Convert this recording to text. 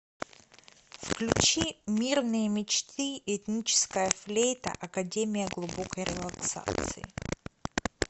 включи мирные мечты этническая флейта академия глубокой релаксации